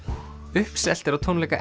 uppselt er á tónleika